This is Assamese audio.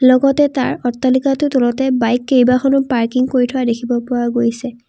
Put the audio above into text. লগতে তাৰ অট্টালিকাটোৰ তলতে বাইক কেইবাখনো পাৰ্কিং কৰি থোৱা দেখিব পোৱা গৈছে।